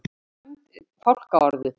Tólf sæmd fálkaorðu